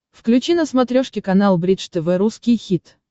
включи на смотрешке канал бридж тв русский хит